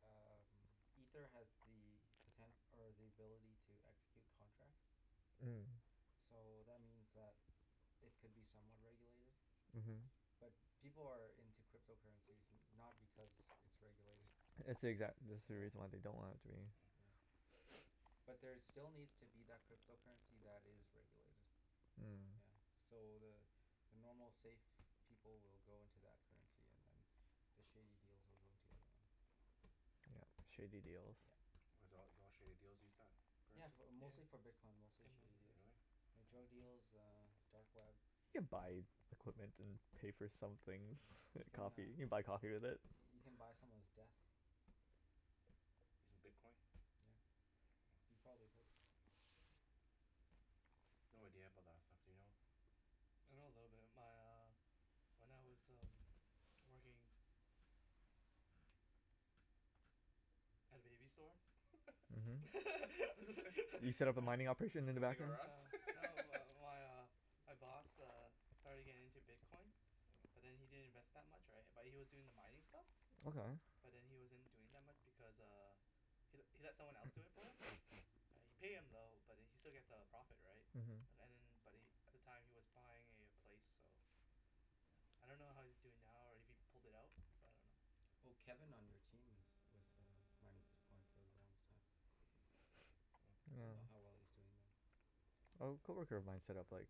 um ether has the poten- or the ability to execute contracts Hmm so that means that it could be somewhat regulated uh-huh but people are in to crypto currencies no- not because it's regulated It's the exact- That's the yeah reason they don't want it to be Hmm huh but there still needs to be that crypto currency that is regulated yeah Hmm so the the normal safe people will go into that currency and then the shady deals will go into the other one Yup shady deals yup why it's all it's all shady deals use that yeah currency? bu- yeah mostly for bitcoin mostly and one shady other deals Really? thing like drug oh deal yeah um dark web You can buy equipment and pay for some things you can coffee you uh can can buy coffee with it you can buy someone's death Using bitcoin? yeah you oh probably could No idea about that stuff do you know? I know a little bit my uh when I was working at a baby store uh-huh You set up a mining operation in the back Something room r' Us Uh no my my uh my boss uh starting getting into bitcoin but then he didn't invest that much right but he was doing the mining stuff Okay but then he wasn't doing that much because uh he he let someone else do it for him yeah you pay him though but then he still get a profit right an- uh-huh and then but he at the time was buying a place so yeah I don't know how he's doing now or if he pulled it out so I don't know Well Kevin on your team is was uh mining bitcoin for the longest time Hmm I don't know how well he's doing oh though Oh a co-worker of mine set-up like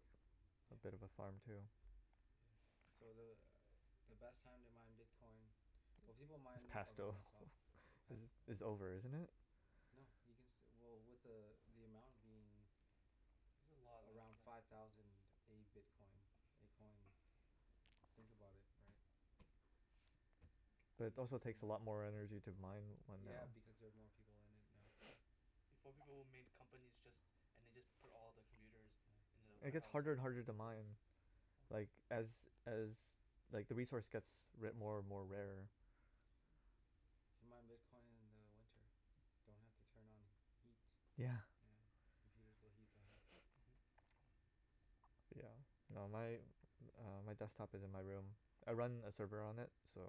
a bit of a yeah farm too yeah so the uh the best time to mine bitcoin well people It's mine passed though around the clock Is pass it's oh over isn't it? No you can still well with the uh the amount being There's a lot of us around now five thousand a bitcoin a coin think about it right But it you can also still takes yeah, a mine lot more yeah energy to mine one now yeah yeah because they're more people in it now yeah Before people would made companies just and they just put all the computers yeah in the And it get's warehouse harder and whatever harder to mine like as as like the resource gets ra- more and more uh-huh rarer Hmm you mine bitcoin in the winter don't have to turn on heat yeah yeah computers will heat the house uh-huh yeah no my uh my desktop is in my room I run a server on it so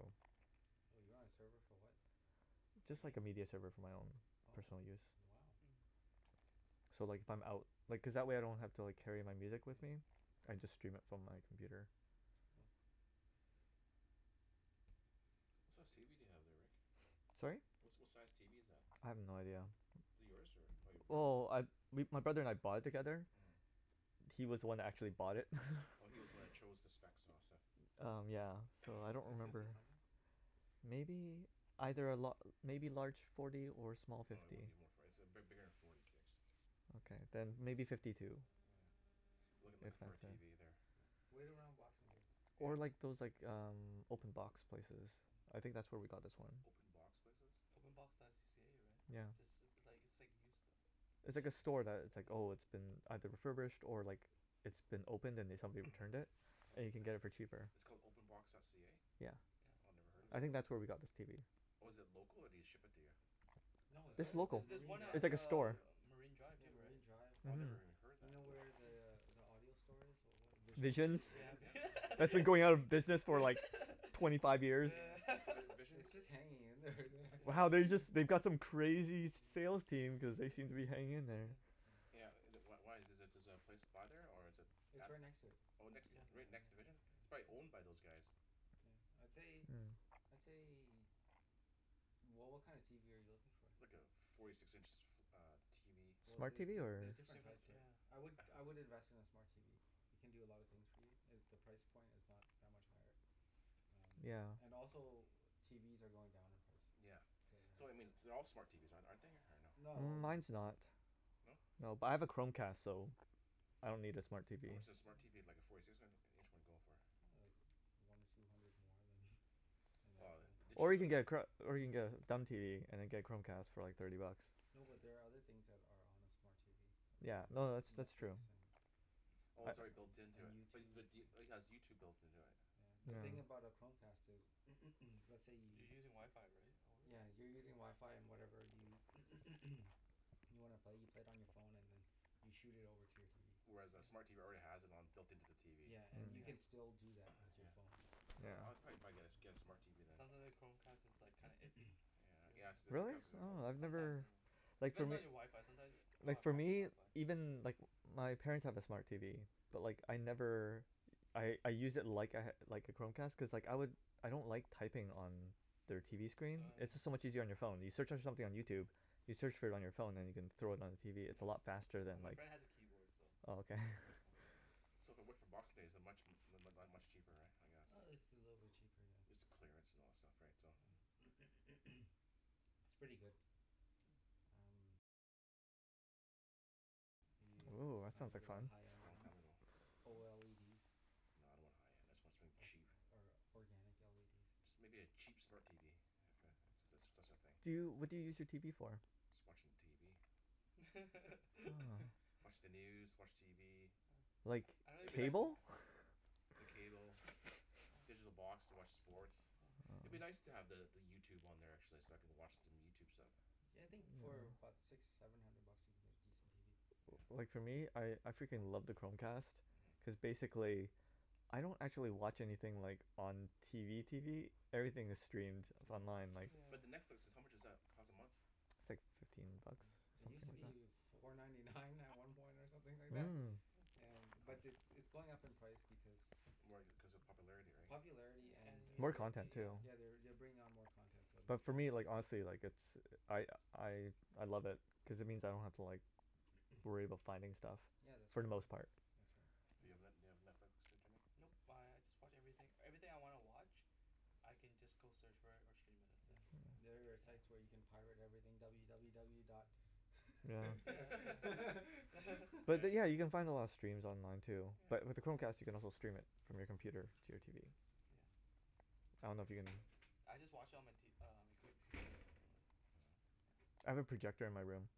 For a Just like game a media server for my own oh personal use wow Hmm So like if I'm out Like cuz that way I don't have to like carry my music yeah with me. I just stream it from my computer uh-huh it's cool What size tv do you have there Rick? Sorry? Wha- what size tv is that? I have no idea Is it yours or your brother's? Well I we my brother and I bought it together Hmm He was the one who actually bought it Oh he's was the one who Hmm chose the specs and all that stuff Um yeah so I don't looks like remember fifty something Maybe. Either a la- maybe larger forty or small No it fifty wouldn't be more for- it's big- bigger then forty six Okay yeah then fifty maybe something fifty two yeah I'm looking looking If Hmm for a that then tv there yeah wait around boxing day yeah Or like those like um open box places I think that's where we got this one Open box places? openbox.c- ca right? Yeah yeah It's ju- it's like it's like used stuff It's It's like use- a store that it's like yeah oh it's been either refurbished or like it's been opened and then somebody returned it and you yeah can get it for cheaper. It's called openbox.ca? Yeah yeah Oh I never it's a head of I it think website that's where we got this tv. Oh is it local or do they ship it to you? no it's uh It's local there's just local, there's Marine one at it's Drive like a uh store Marine Drive yeah too right Marine Drive Oh I never uh-huh even heard you that know where yeah the uh the audio store is what was it Visions Visions Vision Yeah and Vi- yeah That's been going out of business for yeah like twenty five years yeah yeah Vi- Visions its just hanging in there Wow yeah they just they've got some crazy sales yeah team cuz they seem to be yeah hanging in there yeah yeah yeah Yeah uh wh- wh- why is the is the place by there or is it its at right next to it Oh next yeah yeah right right next to next to Vision it It's probably year owned by those guys yeah I'd say Hmm I'd say wha- what kind of tv are you looking for? Like a forty six inch uh tv well Smart tv the- or there's different different types there yeah I would I would invest in a smart tv it can do a lot of things for you and the price point is not that much higher um yeah and also TVs are going down in price yeah so um so I mean th- their all smart TVs are- aren't they or no? not all of them Mines no not No but I have a Chromecast so I don't need a smart TV How much does a smart Hmm TV like a forty six in- inch one go for? ah like one or two hundred more than an Well actual the Or cheap you of can get a chro- or you can get a dumb TV and then get a Chromecast TV for like thirty bucks no but there are other things that are on a smart TV like Yeah uh no net- that's that's Netflix true and Oh I it's an- already built an- into and it bu- YouTube but do- it has YouTube built into it? yeah, the thing yeah Mm about a Chromecast is let's say You're you using wifi right over yeah you're using wifi and whatever you you wanna play you play it on your phone and then you shoot it over to your TV Whereas a smart yeah TV already has it on it built into the TV yeah and you Mm can yeah still do that with your yeah phone Yeah I I Yeah yeah probably probably get a get a smart TV It then sounds li- like Chromecast is like kinda iffy Yeah yes the Really? Chromecast is oh Oh I've sometimes never uh It Like fo- depends on your wifi sometimes pe- people Like have for crappy me, wifi even like wh- my parents have a smart TV but like I never I I use it like I ha- like a Chromecast cuz like I lik- I don't like typing on their TV screen oh it's just so yeah Mm much easier on your phone, you search on something on yeah YouTube you search for it on your phone then you can thrown it on yeah your TV its no, a lot faster than well my friend has a keyboard so oh okay yeah so So if I went for boxing day is it much mu- mu- much cheaper right I guess uh it's a little bit cheaper yeah It's clearance and all that stuff right so yeah it's pretty good Hmm are you Ooh that trying sounds to like get a fun high end Long one time ago Oh No I don't want high end I want something or cheap or organic LEDs Just maybe a cheap smart TV Yeah if if that's that's a thing Do you, what do you use your TV for? Just watching TV oh watch the news watch TV oh Like I- I- don't I'd be even nic- use uh it cable? the cable digital oh box to watch sports huh Oh I'd be nice to the the YouTube on there actually so I can watch some YouTube stuff yeah I think for about six seven hundred bucks you can get a decent TV Yeah Like for me I I freaking love the Chromecast uh-huh cuz basically I don't actually watch anything like on TV TV everything is streamed it's yeah online like yeah But the Netflix how much does that cost a month It's like fifteen bucks yeah it use to be four ninety nine at some point or something like that Hmm yeah How but muc- it's it's going up in price because More cuz of popularity right popularity yeah and an- More they're u- content too yeah yeah they're they're bring on more content so it But makes for sense me Hmm like honestly like it's I I I love it cuz it means I yeah don't have to like worry about finding stuff yeah that's for right the Hmm most part. that's right Do you have Net- do you have Netflix too Jimmy? Nope I I just watch everything, everything I wanna watch I can just go search for it or stream it that's it hmm yeah oh there are site yeah where you can pirate everything w w w dot yeah yeah yeah But yeah then yeah you can find a lot of steams online too but yeah with the yeah Chromecast you can also stream it from your computer to your TV. yeah yeah I don't know if you can I just watch on my t- uh on my com- computer anyways Mm yeah I have a projector in my room.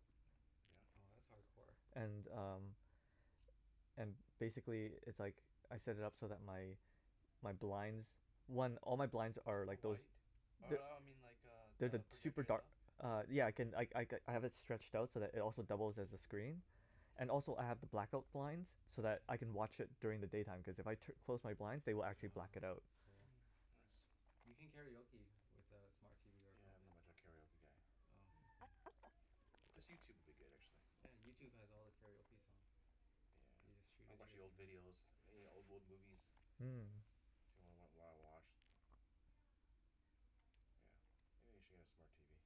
yeah oh that's hardcore and um and basically it's like I set it up so that my my blinds one all my blinds are are like those white uh they- uh I mean like They're the the project super dark itself Uh yeah I can I I have it stretched out so it also doubles as a screen Mmm and also I have the black-out blinds oh so yeah that I can watch it during the daytime cause if I tu- close my blinds they will actually oh black it out cool Hmm nice you can karaoke with uh smart TV or Yeah not Chromecast much of a karaoke guy oh Hmm okay Just YouTube would be good actually yeah YouTube has all the karaoke songs you just Yeah shoot I'll it to watch your the old TV videos any old old movies yeah Hmm If you wanna wa- wa- watch Yeah maybe I should get a smart TV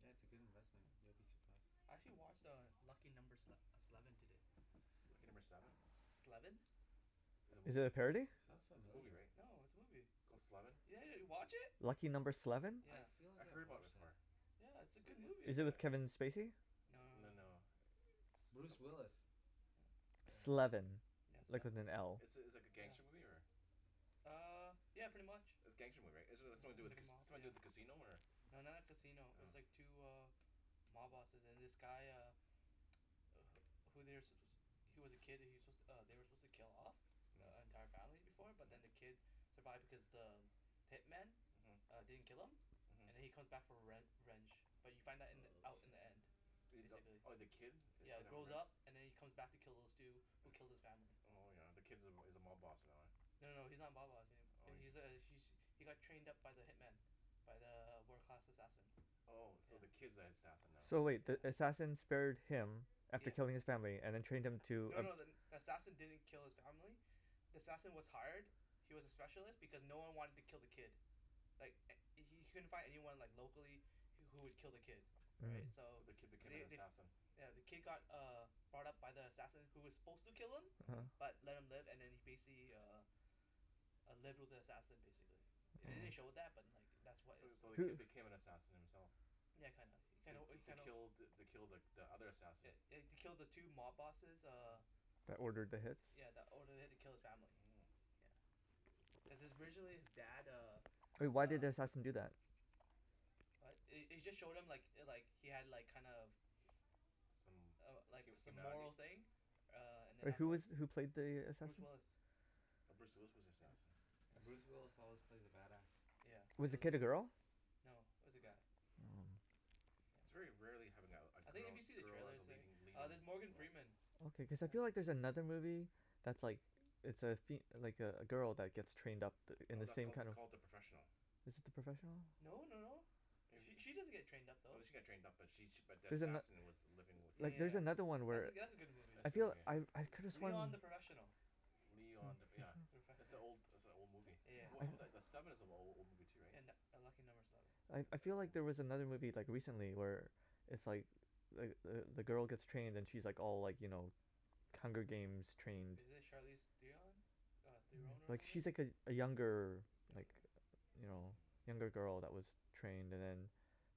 yeah it's a good investment you'll be surprised I actually watch uh Lucky Number Sle- Sleven today Lucky Number Seven? Sleven Is it a Is it movie? a parody? sounds It's it's a movie familiar right? No it's a movie Called Sleven yeah yeah you watch it? Lucky Number Sleven? I yeah feel I like heard I've about it watched that before Yeah it's a It good it it's movie Is it a with Kevin Spacey? no No no no no Bruce some- Willis yeah Sleven, yeah like sleven with an L. It's it's like a gangster yeah movie or? ah uh yeah pretty much It's gangster movie right it it's something to yeah do it's with like ca- a it's mob something to do yeah with a casino or? no not like casino its Oh like two uh mob bosses and this guy uh wh- who they're su- suppo- he's was a kid he was su- they were suppose to kill off the Hm entire family before but then the uh-huh kid survived because the hitman uh-huh didn't kill him and then uh-huh he come back for rev- revenge but you find that in the oh out in shit the end uh the basically oh the kid it yeah comes back grows around up and then he comes back to kill those two who killed his family Oh yeah the kid's- is a mob boss and all yeah no no no he's not a mob boss a- oh he's a he he got trained up by the hitman by the wo- world class assassin Oh so the yeah kid's the assassin now? So wait the yeah assassin spared him after yeah killing his family and then trained him to No no the- then the assassin didn't kill his family the assassin was hired he was a specialist because no one wanted to kill the kid like h- he couldn't find anyone like locally wh- who would kill the kid right right so So the kid became an they they assassin yeah the kid got uh brought up by the assassin who was suppose to kill him uh-huh uh-huh but left him live and then he basically uh uh lived with the assassin basically the- they didn't It show oh that but like that was So is so the who kid became an sup- assassin himself yeah kinda, you kinda To you to kinda kill the kill the the other assassin eh eh to kill the two mob bosses uh uh-huh That ordered the hits yeah that ordered the hit to kill his family Mmm yeah cuz his originally his dad uh But why did uh the assassin do that? what it- it just showed him like like he had like kind of Some uh like hu- some humanity moral thing uh and then But who afterward is who played the Bruce assassin? Willis Oh Bruce Willis was the yeah assassin yeah Bruce Willis always plays a bad ass yeah he Was the al- kid a girl? , no it was a guy yeah oh Hmm yeah It's very rarely having a a I think if girl you see the girl as trailer a say leading leading there's role Morgan Freeman Okay cause I feel yeah like there's another movie that's like It's a fem- like a a girl that get's trained up th- in No the that's same called kinda called The Professional Is it The Professional? no no no It She wa- she doesn't get trained up No though she got trained up but she she but the She's an assassin was the living with yea- the Like there's yea- another one yeah where that that's a good movie That's I a good feel movie I I though could've sworn Leon The Professional Leon The yeah That's an old that's a old movie yeah Well how I about the the Sleven is an a- old movie too right and a Lucky Number Sleven That's I I that's feel like old there was mov- another movie like recently where it's like like the the girl gets trained and she like all like you know Hunger Games trained Is it Charlize Theon? mm Theron or like whatever? she's like a younger like you know younger Hmm girl that was trained and then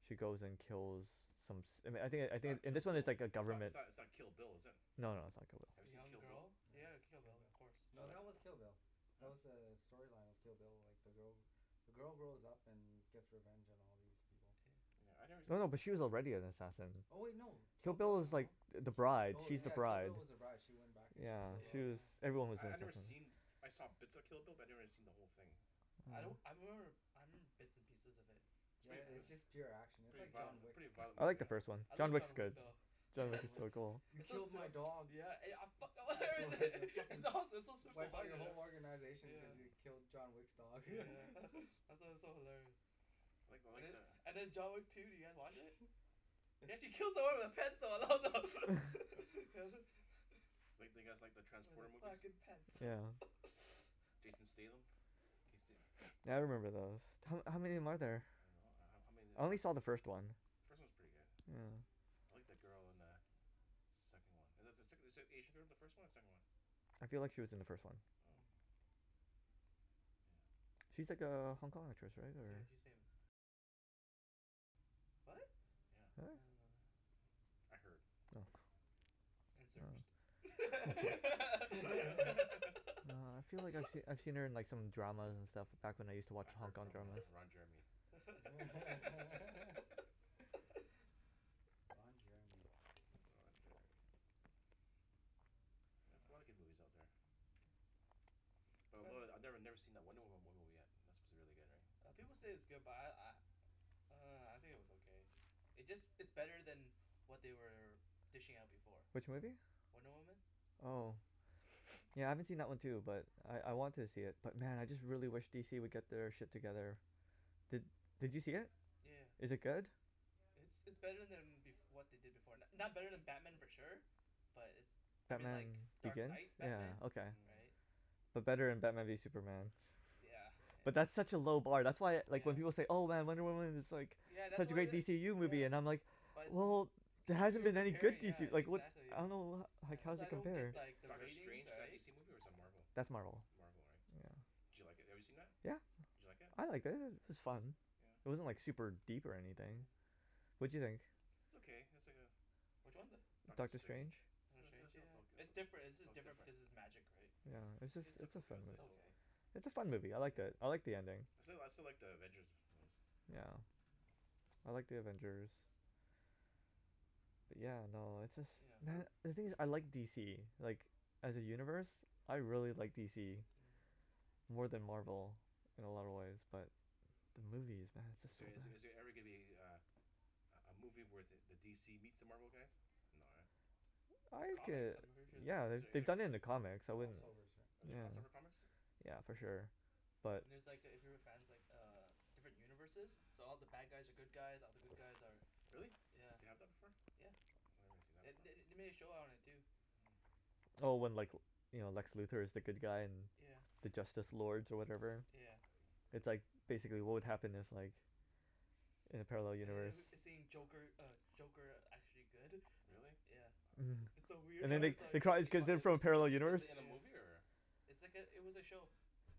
she goes and kills some som- I thin- I It's not think Kill this one its Bill like a it's not government it's not Kill Bill is it? no no it's not Kill Bill Have A you seen young Kill Bill girl? Yeah you have a Kill Bill of course Did you No like it? that was Kill Bill huh? That's was uh the storyline of Kill Bill like the girl the girl grows up and gets revenge on all these people Yeah I nev- us- no no but us- she was already an assassin Oh no Kill Kill Bill Bill was like No th- Ki- the bride oh she's the yeah yeah Kill bride Bill was the brige she went back and she yeah yeah killed she all these was yeah yeah everyone was I I've never seen I saw bits of Kill Bill but I never seen the whole thing I don't Hmm I remember I remember bits and pieces of it It's yeah prett- it- its yeah just uh pure action it's Pretty like violent John mo- yeah Wick pretty violent I movie like the yeah. hey first one I John love yeah, Wick's John Wick good though yeah John Wick is John Wick so cool he It's so killed my sil- dog yeah I I fuck- fucken it's awesome it's so super wipe out your violent whole organization because yeah you Hmm killed John Wick's dog yeah it's it's so hilarious I like I and like the- the and then John Wick two did you guys watch it? He actually yeah kills someone with a pencil oh Do you like do you guys like the wear Transporter the movies fucking pants yeah Jason Statham can yo- se- Yeah I remember those, ho- how many are there? I don't know ho- how many of I the only trans- saw the first one The first one's pretty good Yeah I like the girl in the second one Is is the sec- is the Asian girl in the first one or the second one I feel like she was in the first one Oh Hmm yeah She's like a Hong Kong actress right Yeah or she's famous what? yeah Yeah? I didn't know that I heard Oh and Oh searched No I feel like I I've seen her in some dramas and stuff back when I use to watch I Hong heard Kong from uh dramas Ron Jeremy Ron Jeremy Ron Jeremy Yeah there's a lot yeah of good movies out there But depends I I never never seen that Wonder Woma- Woman movie yet that's suppose to be really good right uh people say its good but I I uh I think it was okay It's just it's better then what they were dishing out before Which Hmm movie? Wonder Woman Oh Yeah I haven't seen that one too but I I want to see it but man I really wish DC would get their shit together Did did you see it? yea- yeah Is it good? It's it's better then bef- what they did before, it's not better then Batman for sure But it's I mean Batman like Dark Begins? Night Batman Yeah okay. Hmm right But better than maybe Superman yeah But that's yeah such a low bar that's why like when yeah people say "Oh man Wonder Woman is like Yeah that's such a what great wha- DCU movie" yeah I'm like But Wel- it's- well there You- hasn't you're been any good comparing yeah DC like what the exactly I don't yeah know ho- Yeah that's how's why it I don't get compares Is like the Doctor ratings Strange is that a right DC movie or is that Marvel That's Marvel Marvel right yeah Yeah Did you like it have you seen that? yeah Did you like it? I liked it i- it was fun yeah It wasn't like super deep or anything yeah What'd you think? It's okay it's like a which one the Doctor Doctor Strange Strange it Doctor was it Strange was yeah oka- it it's different it's jus- was different different because its magic right Yeah yeah it's just it's it's a It's a fun movie, I liked it, I like the ending. I still like I still like The Avengers ones Yeah I like The Avengers Yeah no it's just yeah uh man the thing is I like DC like as a universe I really like DC Hmm more then Marvel in a lot of way but the movies man Is there they're just so is good there every gonna be a a a a movie where the DC meets the Marvel guys no eh I There's like comics it, I'm pretty sure there's yeah Is the- comic there they any- done it in the comics I cross wouldn't yeah overs right Are there yeah cross over comics yeah for yeah sure but And there's like if you were fans like uh different universes so all the bad guys are good guys, all the good guys are Really yeah, they have the before yeah Oh I never seen that The- part they they made a show on it too Hmm Oh when like you know Lex Luthor is the good guy and yeah the Justice Lords or whatever yeah It's like basically what would happen if like in a parallel And universe the- then seeing Joker uh Joker actually good Really? yeah Hmm wow It's so and weird then In they its they like call these is kids in is from a parallel is is universe it in a yeah movie or It's like it- it was a show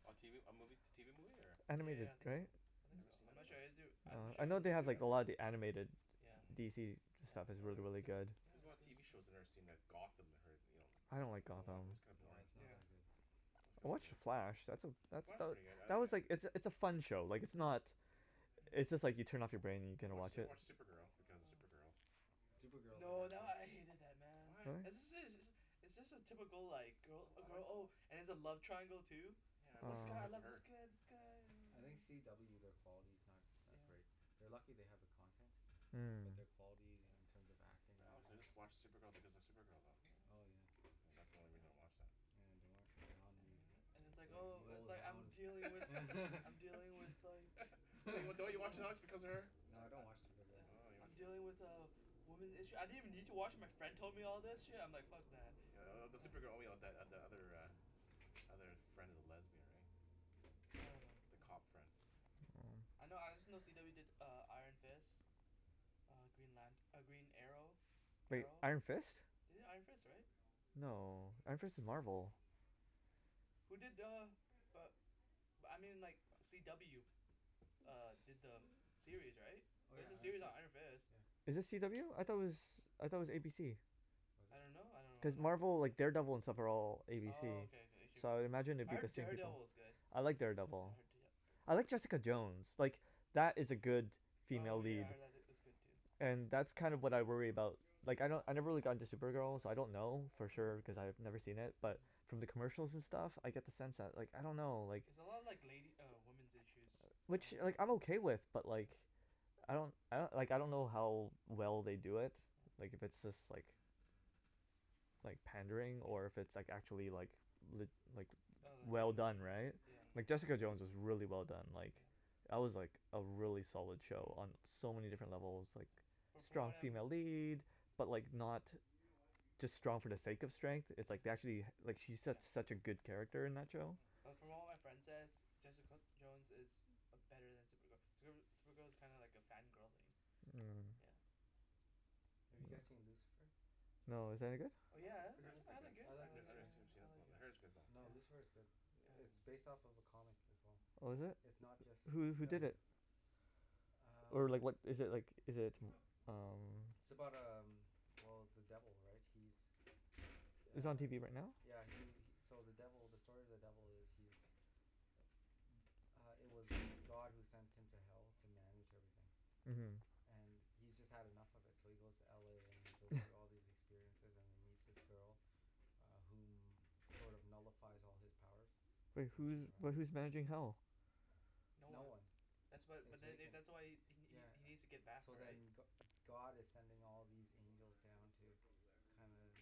A tv a movie t- tv movie or Yeah Animated yeah I think so right? I I think never so seen I'm that not before sure I'm Oh not sure I if it know was they a have movie or an like a lot of episode the animated yeah Hmm DC yeah stuff is well really they really they were good There's a it was lot of good tv shows I never seen like yeah Gotham that I heard you know I don't like I don't watc- Gotham it's kinda oh boring it's not yeah that good I watch The Flash that's a that Flash is that pretty good I I that was like it's a it's a I fun show like it's not It's just like you turn off your brain and you I can watch watch I it watch yeah Supergirl because of Supergirl Supergirl is a No good that show I hated that man What? right It's just a typical like I girl I like girl it oh all and there's a love triangle too Yeah I watch this it Oh guy I because of love this her guy this guy I oh think oh CW their quality's not that yeah great They're lucky they have the content Hmm but their quality in yeah terms of acting But and honestly everything I watch Supergirl because of Supergirl though oh yeah yeah Yeah that's the only yeah reason I watch that yeah and it's I like enjoy it oh the it's old like I'm hound dealing with I'm dealing with like Don't don't you watch Ooh because of her? I No I don't watch Supergirl Oh I I'm you dealing don't watch it with a woman's issue, I didn't even need to watch it my friend told me all this Hmm shit and I'm like fuck that Yeah th- the Supergirl only the the other uh other friend of the lesbian right I don't know the yeah cop friend I know I just know CW did uh Iron Fist Uh Green Lant- Green Arrow Wait Arrow. Iron Fist? They did Iron Fist right? No, Iron Fist is Marvel Who did uh uh but I mean like CW uh did the uh series right oh yeah there's a Iron series on Fist Iron Fist yeah Is it CW? I though it was I thought it was ABC. was I it don't know I Cuz don't know wh- Marvel like Daredevil and stuff are all ABC Oh okay okay so I imagine it I would be heard the same thing Daredevil is good I like yeah Daredevil I heard Da- I heard De- Jessica Jones like that is a good female Oh yeah lead I heard tha- that was good too and that's kinda what I worry about like I kno- I never really got into Supergirl so I don't know for Hmm sure cause I've never seen it but Hmm from the commercial and stuff I get the sense that like I don't know It's a lot of like lady uh women's issues uh which kinda like I'm thing okay with but like Mm I don't I like I don't know how well they do it like if it's just like like pandering or yeah if it's like actually like lit- like Oh well legitimate done right yeah yeah, yeah like Jessica Jones Hmm is really well done like yeah That was like a really solid show Mm on so many different levels like But from strong what I'm female lead but like not just strong for the sake of strength it's yeah, like they actually like she's su- yeah, such a good character in that yeah show Mm But from what my friend says Jessica Jones is uh better then Supergirl, Supergirl Supergirl is kinda like a fan girl thing Hmm yeah Have you guys seen Lucifer? No, is that any good? Oh yeah I It's I pretty heard it's good, I I pretty good like it I I I I like like it yeah never Lucifer seen it yeah before I like but I heard it's good though No yeah Lucifer's good It- yeah it's based off a comic as well Oh is it? It's not just Who who the did it? Or um like what is it like is it t- umm It's about um well the devil right he's Is it on uh tv right now? yeah he he so the devil the story of the devil is he's m- uh it was God who sent him to hell to manage everything uh-huh and he's just had enough of it so he goes to LA and he goes through all these experiences and he meets this girl uh whom sort of nullifies all his powers Wait when she's who's but around who's managing hell? No no one one That's why it's but then vacant that's why he he yeah he needs to get back So right then Go- God is sending all these angels down to kinda